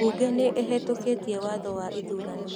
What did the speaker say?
Mbunge nĩ ĩhĩtũkĩtie watho wa ithurano